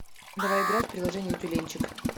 давай играть в приложение тюленьчик